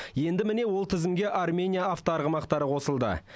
енді міне ол тізімге армения автоарғымақтары қосылды